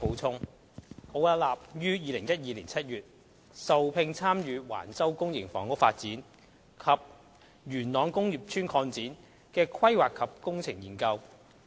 奧雅納於2012年7月受聘參與橫洲公營房屋發展及元朗工業邨擴展的規劃及工程研究。